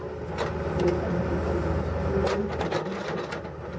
Stjórnendur búast við aukinni verðbólgu